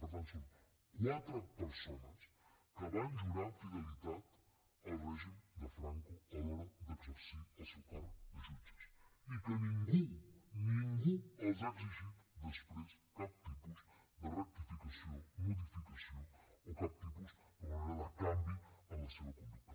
per tant són quatre persones que van jurar fidelitat al règim de franco a l’hora d’exercir el seu càrrec de jutges i que ningú ningú els ha exigit després cap tipus de rectificació modificació o cap tipus d’alguna manera de canvi en la seva conducta